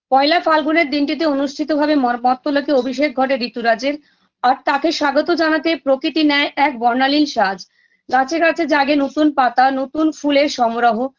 পয়লা ফাল্গুনের দিনটিতে অনুষ্ঠিতভাবে মর মর্ত্যলোকে অভিষেক ঘটে ঋতুরাজের আর তাকে স্বাগত জানাতে প্রকৃতি নে‌‌য় এক বর্ণালীন সাজ গাছে গাছে জাগে নতুন পাতা নতুন ফুলের সমরহ